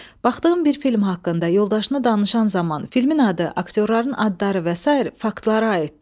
Baxdığın bir film haqqında yoldaşına danışan zaman filmin adı, aktyorların adları və sair faktlara aiddir.